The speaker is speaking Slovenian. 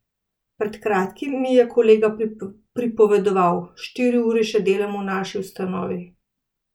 Pred kratkim mi je kolega pripovedoval: "Štiri ure še delam v naši ustanovi.